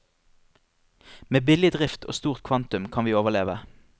Med billig drift og stort kvantum kan vi overleve.